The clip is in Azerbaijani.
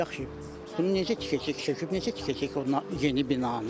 Yaxşı, bunu necə tikəcək, söküb necə tikəcək o yeni binanı?